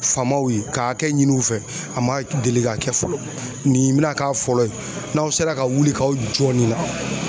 Faamaw ye ka hakɛ ɲini u fɛ a man deli ka kɛ fɔlɔ nin bɛna k'a fɔlɔ ye n'aw sera ka wuli k'aw jɔ nin la